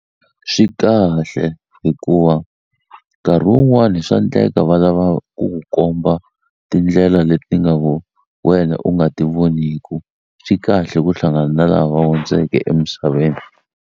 Swi kahle hikuva nkarhi wun'wani swa endleka va lava ku ku komba tindlela leti nga wena u nga ti voniku swi kahle ku hlangana na lava hundzeke emisaveni.